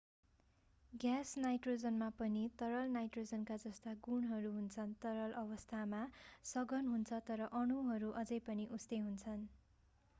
gas नाइट्रोजनमा पनि तरल नाइट्रोजनका जस्ता गुणहरू हुन्छन् तरल अवस्था सघन हुन्छ तर अणुहरू अझै पनि उस्तै हुन्छन्